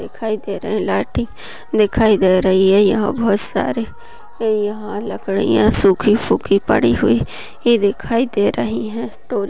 दिखाई दे रही हैं लाईटी दिखाई दे रही है यह बहुत सारे यह लकड़िया सुखी फुकी पड़ी हुई ही दिखाई दे रही है डोरिया--